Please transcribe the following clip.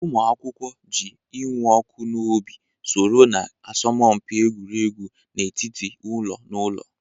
Ụmụ akwụkwọ ji ịnụ ọkụ n'obi soro na asọmpi egwuregwu n'etiti ụlọ na ụlọ.